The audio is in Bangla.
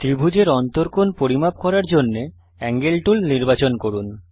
ত্রিভুজের অন্তকোণ পরিমাপ করার জন্যে এঙ্গেল টুল নির্বাচন করুন